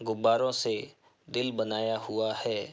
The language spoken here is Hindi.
गुब्बारों से दिल बनाया हुआ है।